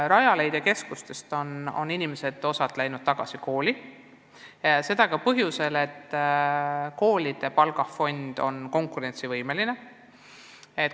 Rajaleidja keskustest on osa inimesi läinud tagasi kooli ja seda ka põhjusel, et koolide palgafond on konkurentsivõimeline.